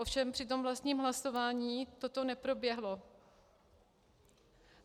Ovšem při tom vlastním hlasování toto neproběhlo.